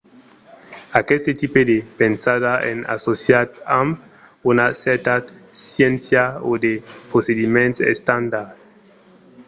aqueste tipe de pensada es associat amb una cèrta sciéncia o de procediments estandards